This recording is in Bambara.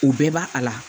U bɛɛ b'a a la